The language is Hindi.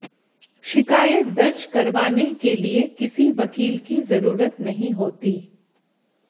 शिकायत दर्ज करवाने के लिए किसी वकील की जरूरत नहीं होती